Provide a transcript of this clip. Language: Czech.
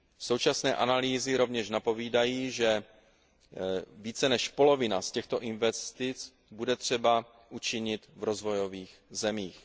Současné analýzy rovněž napovídají, že více než polovinu z těchto investic bude třeba učinit v rozvojových zemích.